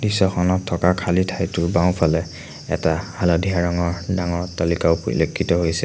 দৃশ্যখনত থকা খালী ঠাইটোৰ বাওঁফালে এটা হালধীয়া ৰংৰ ডাঙৰ অট্টালিকাও পৰিলক্ষিত হৈছে।